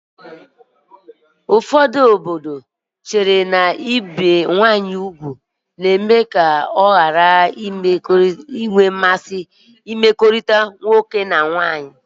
Ụfọdụ obodo chere na ibe nwanyị ugwu ga-eme ya ọ ghara inwe mmasị na mmekọrịta nwoke na nwanyị